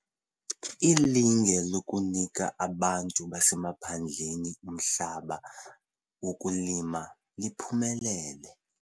Ilinge lokunika abantu basemaphandleni umhlaba wokulima, liphumelele.